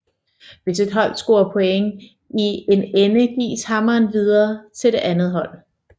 Hvis et hold scorer point i en ende gives hammeren videre til det andet hold